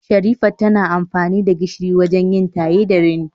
Sherifat tana amfani da gishiri wajen yin taye da rini